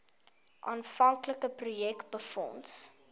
aanvanklike projek befonds